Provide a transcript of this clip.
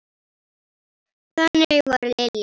Þannig var Lilja.